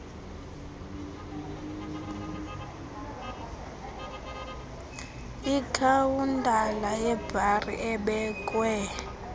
ikhawuntala yebhari ebekwe